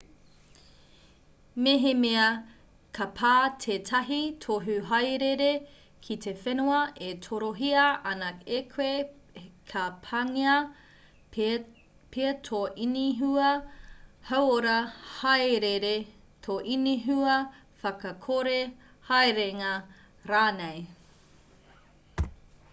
mehemea ka pā tētahi tohu hāereere ki te whenua e torohia ana e koe ka pāngia pea tō inihua hauora hāereere tō inihua whakakore haerenga rānei